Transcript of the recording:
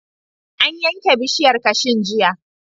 An yanke bishiyar kashun jiya.